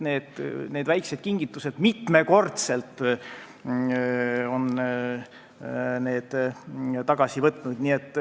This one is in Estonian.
Need väiksed kingitused on mitmekordselt tagasi võetud.